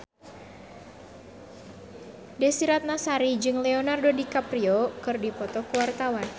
Desy Ratnasari jeung Leonardo DiCaprio keur dipoto ku wartawan